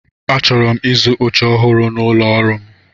Achọrọ m ịzụ oche ọhụrụ n'ụlọ ọrụ m.